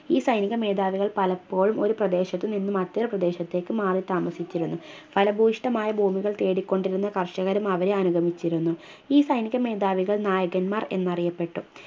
ഈ സൈനിക മേതാവികൾ പലപ്പോഴും ഒരു പ്രദേശത്തു നിന്നും മറ്റൊരു പ്രദേശത്തേക്ക് മാറിത്താമസിച്ചിരുന്നു ഫലഭൂഷ്ടമായ ഭൂമികൾ തേടിക്കൊണ്ടിരുന്ന കർഷകരും അവരെ അനുഗമിച്ചിരുന്നു ഈ സൈനിക മേധാവികൾ നായകന്മാർ എന്നറിയപ്പെട്ടു